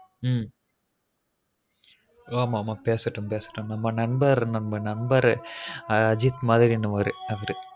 ம் வா மாமா பேசட்டும் பேசட்டும் நம்ம நண்பர் நண்பரு அஜித் மாரி அவரு அவரு